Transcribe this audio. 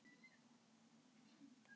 Og hvað segirðu?